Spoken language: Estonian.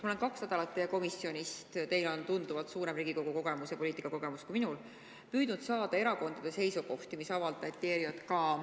Ma olen kaks nädalat teie komisjonilt – teil on tunduvalt suurem Riigikogu kogemus ja üldse poliitikakogemus kui minul – püüdnud saada erakondade seisukohti, mis sel teemal avaldati.